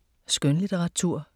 Skønlitteratur